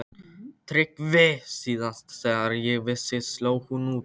TRYGGVI: Síðast þegar ég vissi sló hún tíu.